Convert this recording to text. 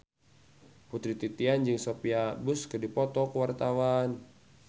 Putri Titian jeung Sophia Bush keur dipoto ku wartawan